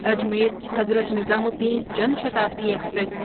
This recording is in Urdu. Ajmer Hazrat Nizamuddin Jan Shatabdi express